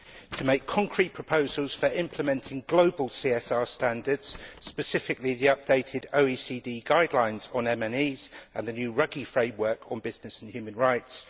to make concrete proposals for implementing global CSR standards, specifically the updated OECD guidelines on Multinational Enterprises and the new Ruggie framework on business and human rights